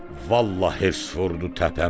Vallah, hirs vurdu təpəmə.